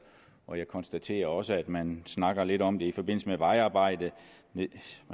og jeg konstaterer også at man snakker lidt om det i forbindelse med vejarbejde man